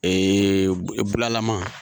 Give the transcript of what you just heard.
Ee bulalama